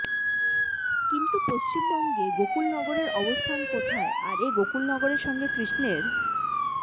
কিন্তু পশ্চিমবঙ্গে গোকুলনগরের অবস্থান কোথায় আর এ গোকুলনগরের সঙ্গে কৃষ্ণের